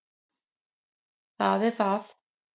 Það er það.